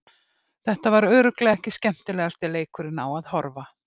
Þetta var örugglega ekki skemmtilegasti leikurinn á að horfa.